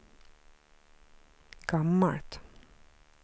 gammalt